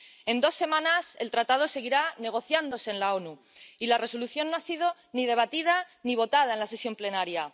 En dos semanas, el Tratado seguirá negociándose en las Naciones Unidas y la Resolución no ha sido ni debatida ni votada en la sesión plenaria.